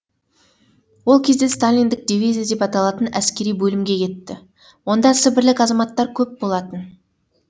ол кезде сталиндік дивизия деп аталатын әскери бөлімге кетті онда сібірлік азаматтар көп болатын